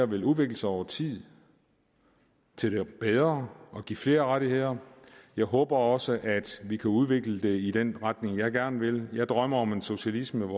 vil udvikle sig over tid til det bedre og give flere rettigheder jeg håber også at vi kan udvikle det i den retning jeg gerne vil jeg drømmer om socialisme